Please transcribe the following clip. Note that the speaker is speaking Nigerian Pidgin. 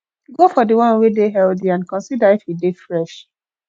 go for di one wey dey healthy and consider if e dey fresh